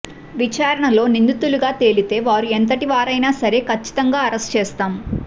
విచారణలో నిందితులుగా తేలితే వారు ఎంతటివారైనా సరే కచ్చితంగా అరెస్టు చేస్తాం